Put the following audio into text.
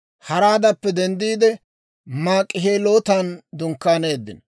Haraadappe denddiide, Maak'ihelootan dunkkaaneeddino.